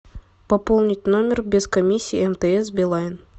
пополнить номер без комиссии мтс билайн